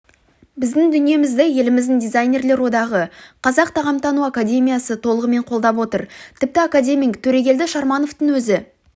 біздің дүниемізді еліміздің дизайнерлер одағы қазақ тағамтану академиясы толығымен қолдап отыр тіпті академик төрегелді шармановтың өзі